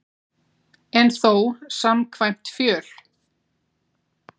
En þó samkvæmt fjöl